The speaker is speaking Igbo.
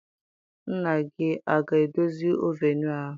Nna gị aga edozi ovunu ahụ?